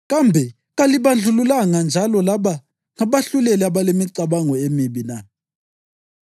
Kambe kalibandlululanga njalo laba ngabahluleli abalemicabango emibi na?